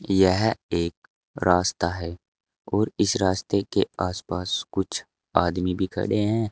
यह एक रास्ता है और इस रास्ते के आसपास कुछ आदमी भी खड़े हैं।